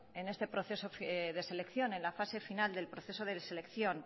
en este proceso de selección en la fase final del proceso de selección